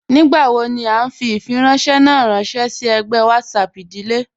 Nígbàwò ní à nfì ifìrànṣẹ̀ ná rànṣẹ sí ègbẹ̀ WhatsApp ìdílé